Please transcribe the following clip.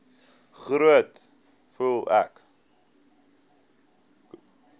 groet voel ek